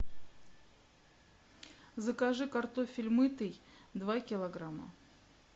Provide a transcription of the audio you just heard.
закажи картофель мытый два килограмма